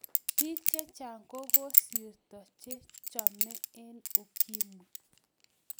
Bik chechang kokokosirto chechome eng ukimwi.